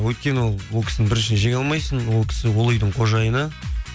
өйткені ол кісіні біріншіден жеңе алмайсың ол кісі ол үйдің қожайыны